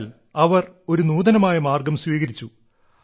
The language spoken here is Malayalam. എന്നാൽ അവർ ഒരു നൂതനമായ മാർഗ്ഗം സ്വീകരിച്ചു